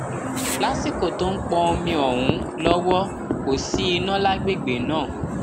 lásìkò tó ń pọn omi ọhún lọwọ kò sí iná lágbègbè náà